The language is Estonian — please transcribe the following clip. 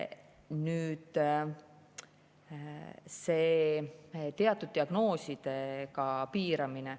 Nüüd, see teatud diagnoosidega piiramine.